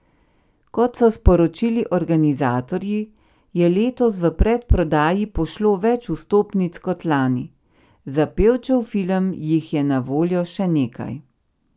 Kot so sporočili organizatorji, je letos v predprodaji pošlo več vstopnic kot lani, za Pevčev film jih je na voljo še nekaj.